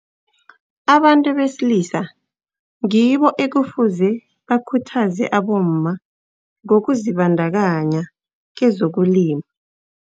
Abantu besilisa ngibo ekufuze bakhuthaze abomma ngokuzibandakanya kezokulima.